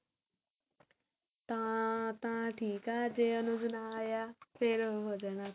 ਤਾਂ ਤਾਂ ਥੀ, ਆ ਜੇ ਅਨੁਜ ਨਾ ਆਇਆ ਫ਼ੇਰ ਉਹ ਹੋ ਜਾਣਾ